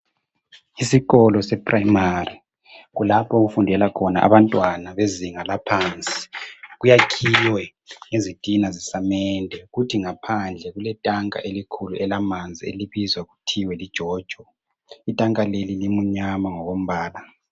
Isikolo sePrimary kulapho okufunda khona abantwana bezinga laphansi. Kwakhiwe ngezitina zesamende kuthi ngaphandle kulentanka elimnyama elibizwa kuthwa yijojo.